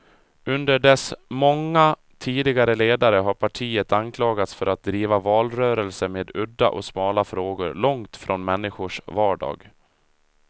Under dess många tidigare ledare har partiet anklagats för att driva valrörelser med udda och smala frågor, långt från människors vardag.